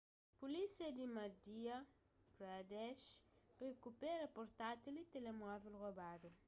pulísia di madhya pradesh rikupera portátil y telemóvel robadu